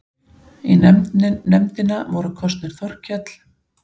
Í nefndina voru kosnir Þorkell